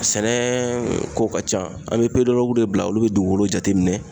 Sɛnɛ ko ka ca an bɛ de bila olu be dugukolo jateminɛ.